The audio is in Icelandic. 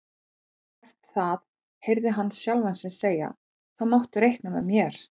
Ef þú ert það heyrði hann sjálfan sig segja, þá máttu reikna með mér